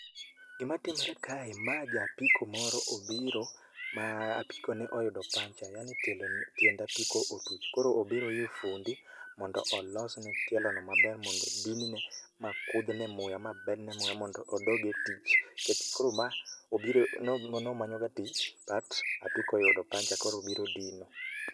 gima timore kae mae ja apiko moro obiro ma apikone oyudo puncture yani tiend apiko otuch koro obiro ir fundi mondo olosne tielo maber mondo dinne mokuthne muya ma med ne muya mondo odog e tich, nikech koro ma nomanyo ga tich but apiko ayudo puncture koro obiro dine.